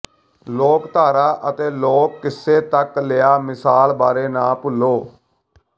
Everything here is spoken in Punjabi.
ਲੋਕਧਾਰਾ ਅਤੇ ਲੋਕ ਕਿੱਸੇ ਤੱਕ ਲਿਆ ਮਿਸਾਲ ਬਾਰੇ ਨਾ ਭੁੱਲੋ